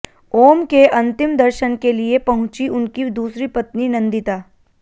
ओम के अंतिम दर्शन के लिए पहुंची उनकी दूसरी पत्नी नंदिता